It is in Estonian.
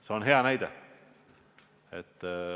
See on hea näide.